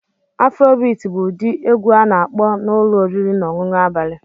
Afrobeat bụ ụdị egwu a na-akpọ na ụlọ oriri na ọṅụṅụ abalị